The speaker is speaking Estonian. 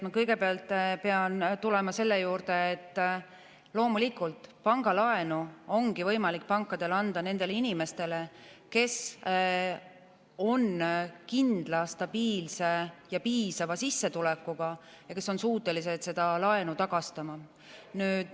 Ma kõigepealt pean tulema selle juurde, et loomulikult pangalaenu ongi võimalik pankadel anda nendele inimestele, kes on kindla, stabiilse ja piisava sissetulekuga, kes on suutelised seda laenu tagastama.